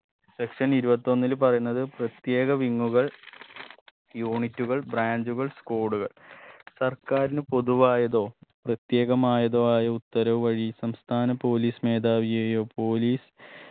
section ഇരുപത്തൊന്നിൽ പറയുന്നത് പ്രത്യേക wing ഉകൾ unit ഉകൾ branch കൾ squad കൾ സർക്കാരിന് പൊതുവായതോ പ്രത്യേകമായതോ ആയ ഉത്തരവ് വഴി സംസ്ഥാന police മേധാവിയെയോ police